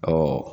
Ɔ